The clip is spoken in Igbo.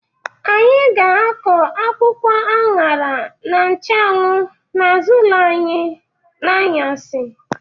Anyị ga-akọ akwụkwọ añara na nchụanwụ n'azụ ụlọ n'anyasị.